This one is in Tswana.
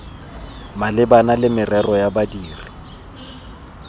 malebana le merero ya badiri